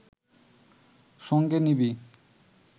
সঙ্গে নিবি